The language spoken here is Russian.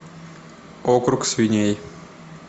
округ свиней